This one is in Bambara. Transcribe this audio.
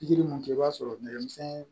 Pikiri mun kɛ i b'a sɔrɔ nɛgɛmisɛn